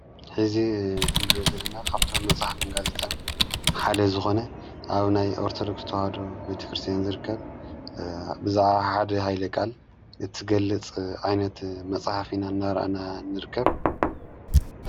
ሐዚ ንሪኦ ዘለና ካብቶም መፅሓፍን ጋዜጣን ሓደ ዝኾነ ኣብ ናይ ኣርተዶክስ ተዋህዶ ቤተ ክርስቲያን ዝርከብ ብዛዕባ ሓደ ኃይለ ቃል እትገልጽ ዓይነት መጽሓፍ ኢና እናርኣነ ንርከብ።